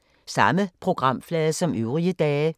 Samme programflade som øvrige dage